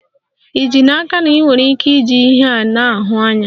Ì ji n'aka na ị nwere ike iji ihe a na-ahụ anya?